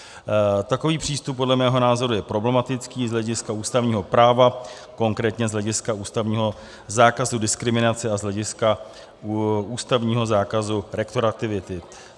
Takový přístup podle mého názoru je problematický z hlediska ústavního práva, konkrétně z hlediska ústavního zákazu diskriminace a z hlediska ústavního zákazu retroaktivity.